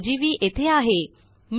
test1ओजीव्ही येथे आहे